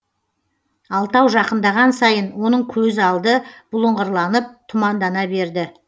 алтау жақындаған сайын оның көз алды бұлыңғырланып тұмандана берді